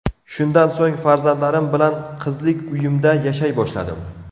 Shundan so‘ng farzandlarim bilan qizlik uyimda yashay boshladim.